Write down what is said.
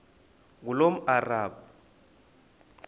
ngulomarabu